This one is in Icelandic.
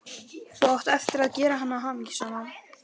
Þú átt eftir að gera hana hamingjusama.